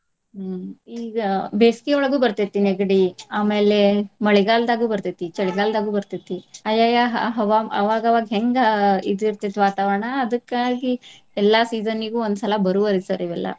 ಹ್ಮ್ ಈಗ ಬೆಸ್ಗಿಯೊಳಗು ಬರ್ತೈತಿ ನೆಗಡಿ ಆಮೇಲೆ ಮಳೆಗಾಲ್ದಾಗು ಬರ್ತೈತಿ, ಚಳಿಗಾಲ್ದಾಗು ಬರ್ತೈತಿ ಆಯಾಯಾ ಆ ಹವಾ ಅವಾಗ ಅವಾಗ ಹೆಂಗ ಇದು ಇರ್ತೆತಿ ವಾತಾವರಣ ಅದಕ್ಕಾಗಿ ಎಲ್ಲಾ season ಇಗು ಒಂದ್ ಸಲಾ ಬರುವರಿ sir ಇವೆಲ್ಲಾ.